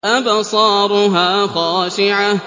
أَبْصَارُهَا خَاشِعَةٌ